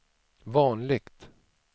vanligt